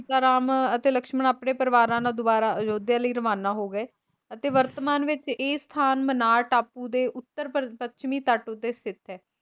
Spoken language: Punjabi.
ਰਾਮ ਅਤੇ ਲਕਸ਼ਮਣ ਆਪਣੇ ਪਰਿਵਾਰਾਂ ਨਾਲ ਦੁਬਾਰਾ ਅਯੋਧਿਆ ਲਈ ਰਵਾਨਾ ਹੋ ਗਏ ਅਤੇ ਵਰਤਮਾਨ ਵਿੱਚ ਇਹ ਸਥਾਨ ਮਨਾਰ ਟਾਪੂ ਦੇ ਉੱਤਰ ਪੱਛਮੀ ਤੱਟ ਉੱਤੇ ਸਥਿਤ ਹੈ।